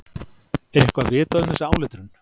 Er eitthvað vitað um þessa áletrun?